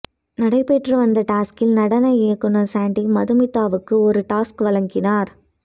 நடைபெற்று வந்த டாஸ்கில் நடன இயக்குநர் சாண்டி மதுமிதாவுக்கு ஒரு டாஸ்க் வழங்கினார்